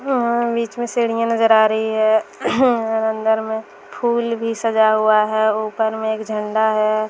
उ-उ-बीच में सीढ़ियां नजर आ रही हैं और अंदर में फूल भी सजा हुआ हैं ऊपर में एक झंडा है।